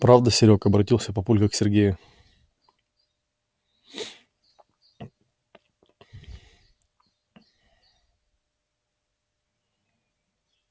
правда серёг обратился папулька к сергею